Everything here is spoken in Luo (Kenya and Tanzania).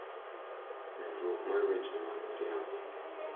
Medruok mar weche ma miriambo,